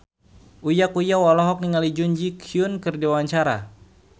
Uya Kuya olohok ningali Jun Ji Hyun keur diwawancara